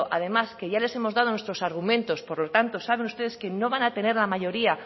además que ya les hemos dado nuestros argumentos por lo tanto saben ustedes que no van a tener la mayoría